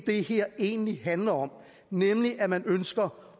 det her egentlig handler om nemlig at man ønsker